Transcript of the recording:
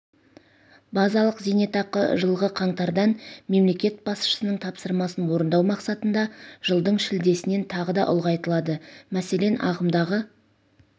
базалық зейнетақы жылғы қаңтардан мемлекет басшысының тапсырмасын орындау мақсатында жылдың шілдесінен тағы да ұлғайтылады мәселен ағымдағы